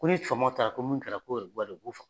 Ko ni famaw taara ko mun kɛra k'o